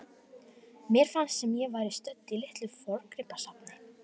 Mér fannst sem ég væri stödd í litlu forngripasafni.